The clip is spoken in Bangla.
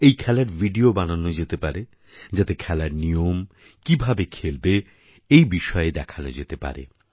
এই খেলার ভিডিও বানানো যেতে পারে যাতে খেলার নিয়ম কীভাবে খেলবে এই বিষয়ে দেখান যেতে পারে